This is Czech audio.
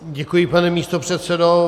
Děkuji, pane místopředsedo.